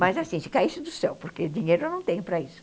Mas assim, se caísse do céu, porque dinheiro eu não tenho para isso.